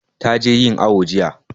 Ta je yin awu jiya